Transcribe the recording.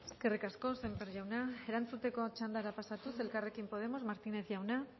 eskerrik asko sémper jauna erantzuteko txandara pasatuz elkarrekin podemos martínez jauna